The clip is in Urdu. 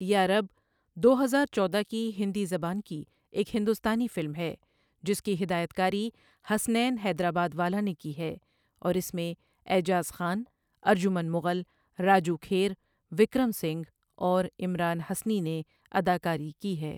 یا رب دو ہزار چودہ کی ہندی زبان کی ایک ہندوستانی فلم ہے جس کی ہدایت کاری حسنین حیدرآباد والا نے کی ہے، اور اس میں اعجاز خان، ارجمن مغل، راجو کھیر، وکرم سنگھ، اور عمران حسنی نے اداکاری کی ہے۔